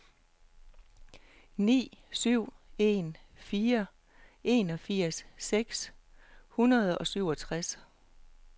ni syv en fire enogfirs seks hundrede og syvogtres